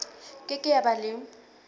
ke ke ya ba le